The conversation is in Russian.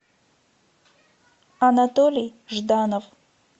анатолий жданов